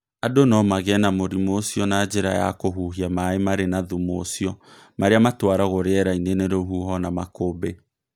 Andũ no magĩe na mũrimũ ũcio na njĩra ya kũhuhia maĩ marĩ na thumu ũcio marĩa matwaragwo rĩera-inĩ nĩ rũhuho na makũmbĩ.